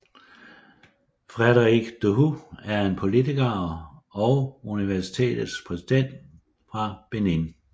Frédéric Dohou er en politiker og universitet præsidenter fra Benin